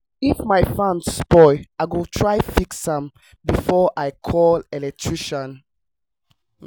if my fan spoil i go try fix am before i call electrician.